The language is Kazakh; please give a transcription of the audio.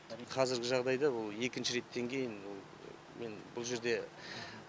қазіргі жағдайда бұл екінші реттен кейін бұл мен бұл жерде